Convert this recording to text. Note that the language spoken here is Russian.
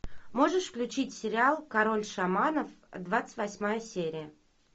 можешь включить сериал король шаманов двадцать восьмая серия